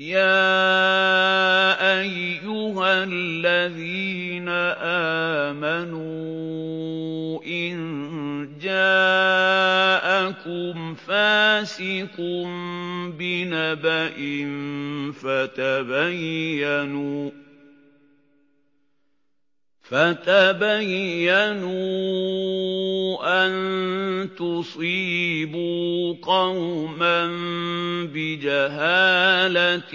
يَا أَيُّهَا الَّذِينَ آمَنُوا إِن جَاءَكُمْ فَاسِقٌ بِنَبَإٍ فَتَبَيَّنُوا أَن تُصِيبُوا قَوْمًا بِجَهَالَةٍ